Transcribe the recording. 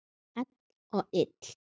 Hvell og þykk.